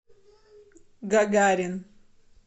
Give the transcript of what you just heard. гагарин